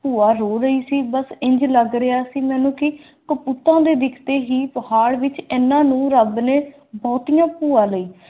ਭੂਆ ਨੂੰ ਹੀ ਸੀ ਬੱਸ ਇੰਝ ਲੱਗ ਰਿਹਾ ਸੀ ਮਨੁੱਖਤਾ ਦੇ ਦਿੱਤੀ ਕਿ ਪਹਾੜ ਵਿਚ ਇਨ੍ਹਾਂ ਨੂੰ ਰੱਬ ਨੇ